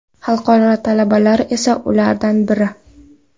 Xalqaro talabalar esa ulardan biri.